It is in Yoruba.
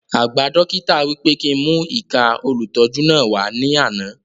Àgba dókítà wí pé kí n mú ìka olùtọ́jú náà wà ní àna